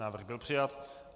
Návrh byl přijat.